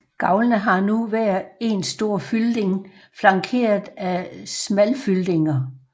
Gavlene har nu hver én stor fylding flankeret af smalfyldinger